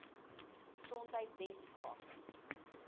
gesondheidweskaap